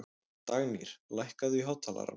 Dagnýr, lækkaðu í hátalaranum.